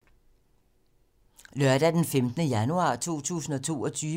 Lørdag d. 15. januar 2022